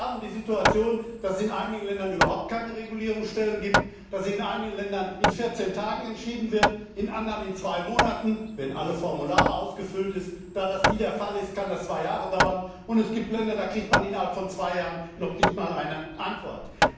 Denn wir haben die Situation, dass es in einigen Ländern überhaupt keine Regulierungsstelle gibt, dass in einigen Ländern in vierzehn Tagen entschieden wird, in anderen in zwei Monaten, wenn alle Formulare ausgefüllt sind da das nie der Fall ist, kann das zwei Jahre dauern und es gibt Länder, da kriegt man innerhalb von zwei Jahren noch nicht einmal eine Antwort.